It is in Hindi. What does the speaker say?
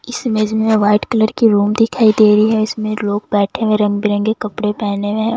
इस इमेज में वाइट कलर की रूम दिखाई दे रही है इसमें लोग बैठे हुए रंग बिरंगे कपड़े पहने हुए हैं।